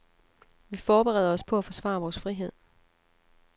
Vi forbereder os på at forsvare vores frihed.